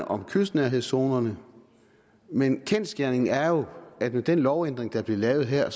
om kystnærhedszonerne men kendsgerningen er jo at med den lovændring der bliver lavet her